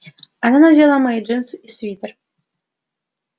она надела мои джинсы и свитер